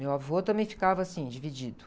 Meu avô também ficava assim, dividido.